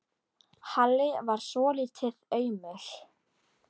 Halli varð svolítið aumur.